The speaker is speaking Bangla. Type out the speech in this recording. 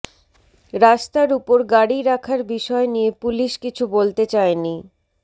রাস্তার উপর গাড়ি রাখার বিষয় নিয়ে পুলিশ কিছু বলতে চায়নি